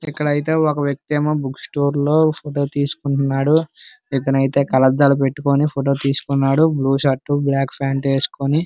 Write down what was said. ఇక్కడ అయితే ఒక వ్యక్తి ఏమో బుక్ స్టోర్ లో ఫోటో తీసుకుంటున్నాడు. ఇతను అయితే కళ్ళద్దాలు పెట్టుకుని ఫోటో తీసుకున్నాడు. బ్లూ షర్టు బ్లాక్ ప్యాంటు వేసుకుని.